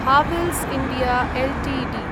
Havells India Ltd